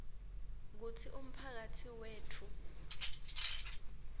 kutsi umphakatsi wetfu